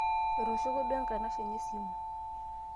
etooshoko duo enkanshe enye esimu